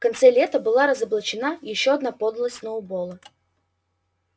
в конце лета была разоблачена ещё одна подлость сноуболла